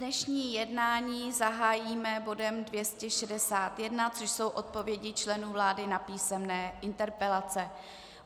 Dnešní jednání zahájíme bodem 261, což jsou odpovědi členů vlády na písemné interpelace.